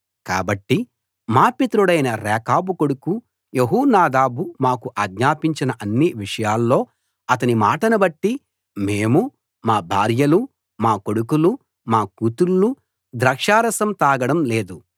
కాబట్టి మా పితరుడైన రేకాబు కొడుకు యెహోనాదాబు మాకు ఆజ్ఞాపించిన అన్ని విషయాల్లో అతని మాటను బట్టి మేము మా భార్యలు మా కొడుకులు మా కూతుళ్ళు ద్రాక్షారసం తాగడం లేదు